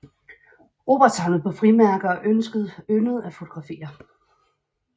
Robert samlede på frimærker og yndede at fotografere